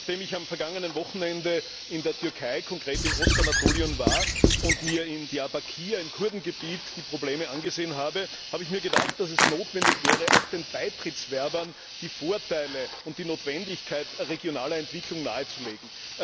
Nachdem ich am vergangenen Wochenende in der Türkei konkret in Ostanatolien war und mir die Probleme in Diyarbakir im Kurdengebiet angesehen habe, habe ich mir gedacht, dass es notwendig wäre, auch den Beitrittswerbern die Vorteile und die Notwendigkeit regionaler Entwicklung nahezulegen.